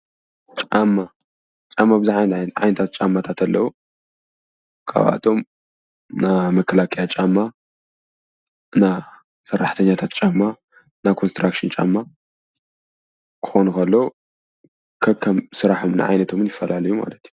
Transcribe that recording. ጫማ፡- ጫማ ቡዙሓት ዓይነታት ጫማታት ኣለው፡፡ ካብኣቶም ና መከላከያ ጫማ ፣ ና ሰራሕተኛታት ጫማ፣ ና ኮንስትራክሽን ጫማ ክኾኑ ኸለው ከከም ስርሖምን ዓይነቶምን ይፈላለዩ እዩ ማለት እዩ፡፡